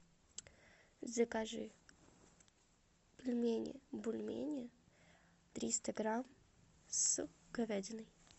закажи пельмени бульмени триста грамм с говядиной